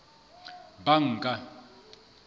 banka